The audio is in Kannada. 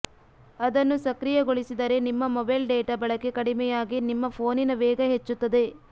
ಅದನ್ನು ಸಕ್ರಿಯಗೊಳಿಸಿದರೆ ನಿಮ್ಮ ಮೊಬೈಲ್ ಡೇಟಾ ಬಳಕೆ ಕಡಿಮೆಯಾಗಿ ನಿಮ್ಮ ಫೋನಿನ ವೇಗ ಹೆಚ್ಚುತ್ತದೆ